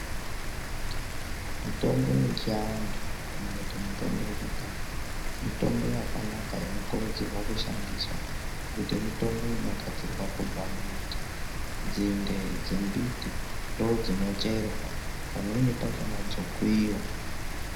Mutombo yechiantu kana kuti mutombo yekudhaya mitombo yakanaka inokurudzurwa kushandiswa ngekuti mutombo inogadzirwa kubva mumbiti nzinde dzemumbiti ndodzino cherwa pamweni pakona dzokuyiwa.